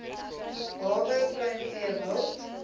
hawe pluimvee wild